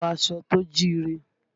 Wọ aṣọ tó jíire!